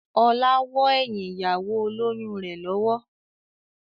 Ọlá wọ́ ẹyin ìyàwó olóyun rẹ lọ́wọ́.